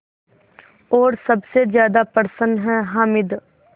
और सबसे ज़्यादा प्रसन्न है हामिद